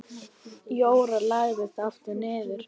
Jóra lagðist aftur niður.